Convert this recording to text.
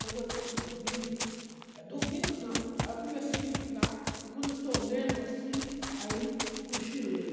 Quando eu estou dormindo, dormindo não, aí eu comecei a estudar, e quando eu estou lendo assim, aí cochilei.